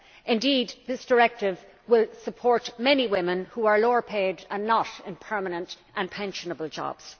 Indeed this directive will support many women who are lower paid and not in permanent and pensionable jobs.